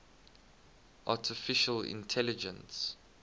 artificial intelligence